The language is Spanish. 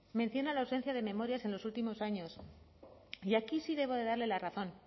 menciona la ausencia de memorias en los últimos años y aquí sí debo de darle la razón